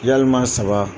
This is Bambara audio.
Yalima saba